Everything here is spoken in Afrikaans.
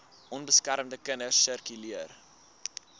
onbeskermde kinders sirkuleer